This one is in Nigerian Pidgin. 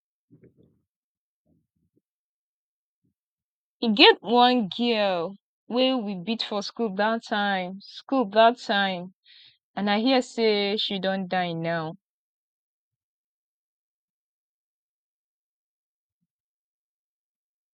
e get one girl wey we beat for school dat time school dat time and i hear say she don die now